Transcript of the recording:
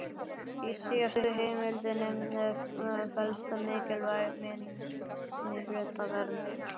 Í síðastnefndu heimildinni felst mikilvæg minnihlutavernd.